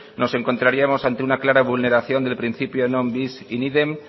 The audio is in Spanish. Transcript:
nos encontraríamos ante una clara vulneración del principio non bis in idem